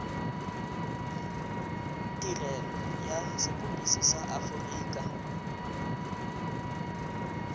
tirelo ya sepodisi sa aforika